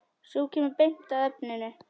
Sú kemur beint að efninu!